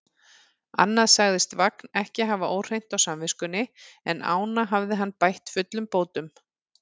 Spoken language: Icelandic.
Annað sagðist Vagn ekki hafa óhreint á samviskunni, en ána hafði hann bætt fullum bótum.